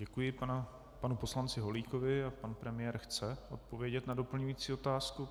Děkuji panu poslanci Holíkovi a pan premiér chce odpovědět na doplňující otázku.